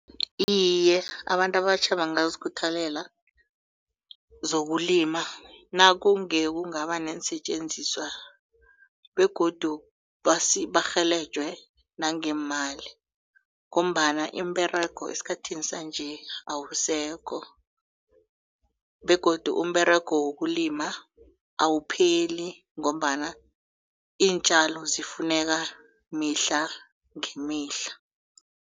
Iye, abantu abatjha bangazikhuthalela zokulima nakunge kungaba neensetjenziswa begodu barhelejwe nangeemali ngombana imiberego esikhathini sanje awusekho begodu umberego wokulima awupheli ngombana iintjalo zifuneka mihla ngemihla.